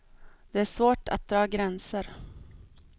Det är svårt att dra gränser.